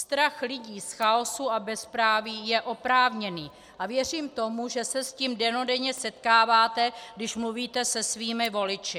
Strach lidí z chaosu a bezpráví je oprávněný a věřím tomu, že se s tím dennodenně setkáváte, když mluvíte se svými voliči.